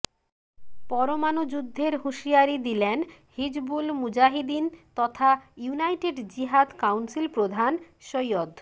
পরমাণু যুদ্ধের হুঁশিয়ারি দিলেন হিজবুল মুজাহিদিন তথা ইউনাইটেড জিহাদ কাউন্সিল প্রধান সৈয়দ